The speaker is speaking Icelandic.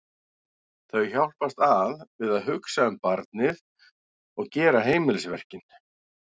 Þau hjálpast að við að hugsa um barnið og gera heimilisverkin.